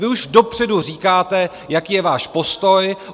Vy už dopředu říkáte, jaký je váš postoj.